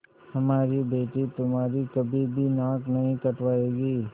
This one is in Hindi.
हमारी बेटी तुम्हारी कभी भी नाक नहीं कटायेगी